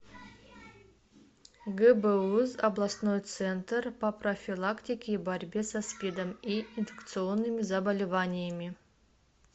гбуз областной центр по профилактике и борьбе со спидом и инфекционными заболеваниями